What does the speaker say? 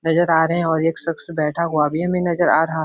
नजर आ रहें है और एक सक्श बैठा हुआ भी है हमें नजर आ रहा --